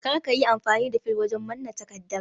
Kar ka yi amfani da fil wajen manna takardar